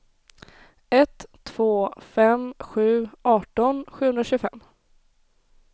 ett två fem sju arton sjuhundratjugofem